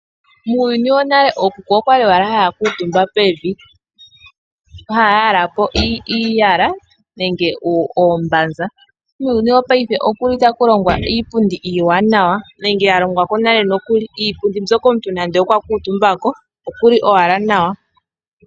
Muuyuni wonale ookuku okwali haya kuuntumba pevi. Okwa li haya yalapo iiyala nenge oombanza. Muuyuni wo paife okuli taku longwa iipundi iiwanawa nenge ya longwa ko nale nokuli. Iipundi mbyoka omuntu nande okwa kuuntumba ko okuli owala nawa.